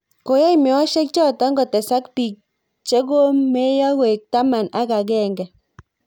Koyai meoshek choto kotesak biik che ko meeiyo koek taman ak agenge